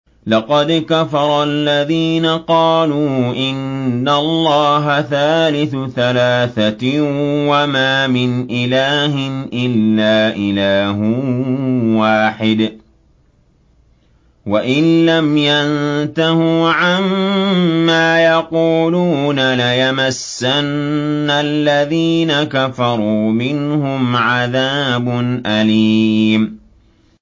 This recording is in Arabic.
لَّقَدْ كَفَرَ الَّذِينَ قَالُوا إِنَّ اللَّهَ ثَالِثُ ثَلَاثَةٍ ۘ وَمَا مِنْ إِلَٰهٍ إِلَّا إِلَٰهٌ وَاحِدٌ ۚ وَإِن لَّمْ يَنتَهُوا عَمَّا يَقُولُونَ لَيَمَسَّنَّ الَّذِينَ كَفَرُوا مِنْهُمْ عَذَابٌ أَلِيمٌ